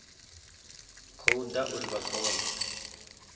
khou ḓa uri vha kone